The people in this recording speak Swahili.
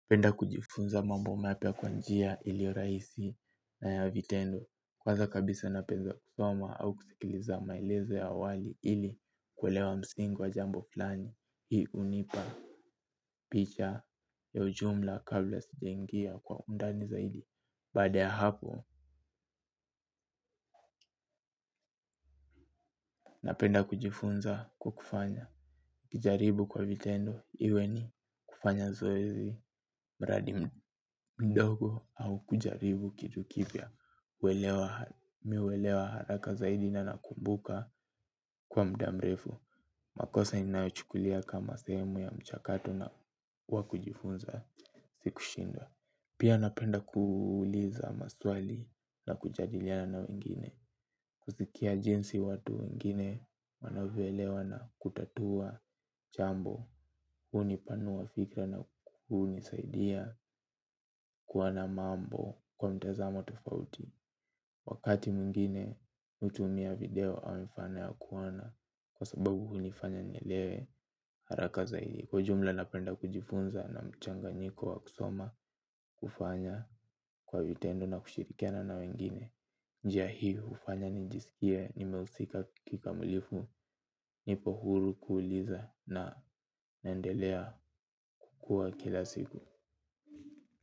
Napenda kujifunza mambo mapya kwa njia ilio raisi na ya vitendo. Kwanza kabisa na penda kusoma au kusikiliza mailezo ya awali ili kwelewa msingi wa jambo flani. Hii unipa picha ya ujumla kabla sijaingia kwa undani zaidi. Baada ya hapo napenda kujifunza kwa kufanya. Kijaribu kwa vitendo iwe ni kufanya zoezi mradi mdogo au kujaribu kitu kipya. Mi uelewa haraka zaidi na nakumbuka kwa muda mrefu. Makosa inayochukulia kama sehemu ya mchakato na wakujifunza sikushindwa. Pia napenda kuuliza maswali na kujadiliana na wengine. Kuzikia jinsi watu wengine wanavyoelewa na kutatua chambo. Huni panua fikra na kunisaidia kuona mambo kwa mtazamo tofauti. Wakati mwingine utumia video amifana kuona kwa sababu hunifanya nielewe haraka zaidi kwa jumla napenda kujifunza na mchanganyiko wa kusoma kufanya kwa vitendo na kushirikiana na wengine. Njia hii ufanya njisikie nimehusika kikamilifu nipo huru kuuliza na naendelea kuwa kila siku.